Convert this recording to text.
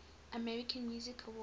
american music awards